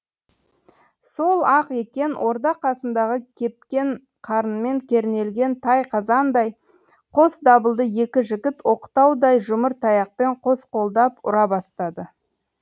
сол ақ екен орда қасындағы кепкен қарынмен кернелген тай қазандай қос дабылды екі жігіт оқтаудай жұмыр таяқпен қос қолдап ұра бастады